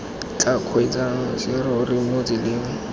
tla kgweetsang serori mo tseleng